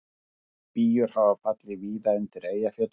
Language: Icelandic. Spýjur hafa fallið víða undir Eyjafjöllum